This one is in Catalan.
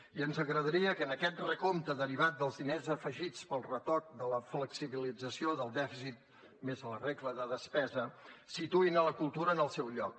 i ens agradaria que en aquest recompte derivat dels diners afegits pel retoc de la flexibilització del dèficit més la regla de despesa situïn la cultura en el seu lloc